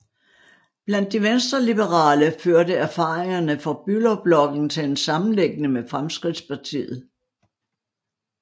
Blandt de venstreliberale førte erfaringerne fra Bülowblokken til en sammenlægning med Fremskridtspartiet